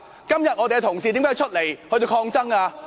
今天我們的同事為何要出來抗爭呢？